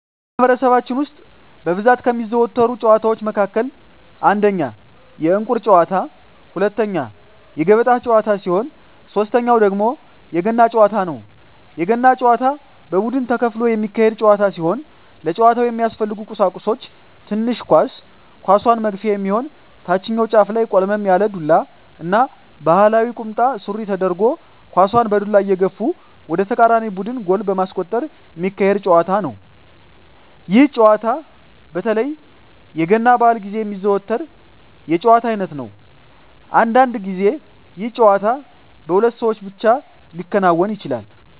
በማህበረሰባችን ውስጥ በብዛት ከሚዘወተሩ ጨዋታወች መካከል አንደኛ የእንቁር ጨዋታ፣ ሁለተኛ የገበጣ ጨዋታ ሲሆን ሶተኛው ደግሞ የገና ጨዋታ ነው። የገና ጨዋታ በቡድን ተከፍሎ የሚካሄድ ጨዋታ ሲሆን ለጨዋታው የሚያስፈልጉ ቀሳቁሶች ትንሽ ኳስ፣ ኳሷን መግፊያ የሚሆን ታችኛው ጫፉ ላይ ቆልመም ያለ ዱላ እና ባህላዊ ቁምጣ ሱሪ ተደርጎ ኳሳን በዱላ እየገፉ ወደ ተቃራኒ ቡድን ጎል በማስቆጠር ሚካሄድ ጨዋታ ነው። ይህ ጨዋታ በተለይ የገና በአል ግዜ የሚዘወተር የጨዋታ አይነት ነው። አንዳንድ ግዜ ይህ ጨዋታ በሁለት ሰው ብቻ ሊከናወን ይችላል።